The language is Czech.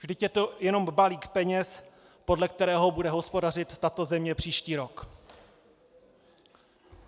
Vždyť je to jenom balík peněz, podle kterého bude hospodařit tato země příští rok.